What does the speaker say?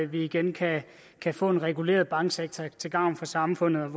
vi igen kan kan få en reguleret banksektor til gavn for samfundet en